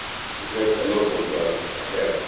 We have a lot of work ahead.